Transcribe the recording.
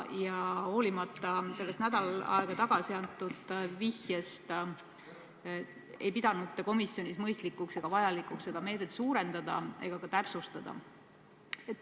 Ja hoolimata sellest nädal aega tagasi antud vihjest, ei pidanud te komisjonis mõistlikuks ega vajalikuks seda meedet suurendada ega täpsustada.